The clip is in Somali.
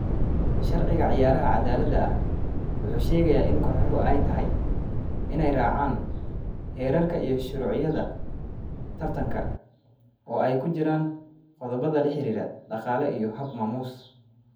Sharciga ciyaaraha cadaaladda ah wuxuu sheegaa in kooxuhu ay tahay inay raacaan xeerarka iyo shuruucda tartanka, oo ay ku jiraan qodobbada la xiriira dhaqaale iyo hab-maamuus.